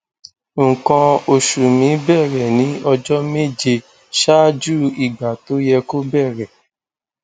nǹkan oṣù mi bẹrẹ ní ọjọ méje ṣáájú ìgbà tó yẹ kó bẹrẹ